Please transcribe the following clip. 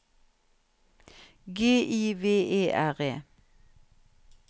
G I V E R E